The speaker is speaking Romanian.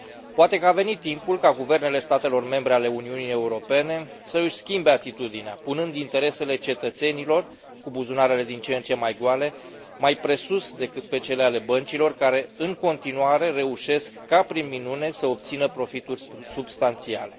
Poate că a venit timpul ca guvernele statelor membre ale Uniunii Europene să își schimbe atitudinea, punând interesele cetățenilor cu buzunarele din ce în ce mai goale mai presus decât pe cele ale băncilor care, în continuare, reușesc ca prin minune să obțină profituri substanțiale.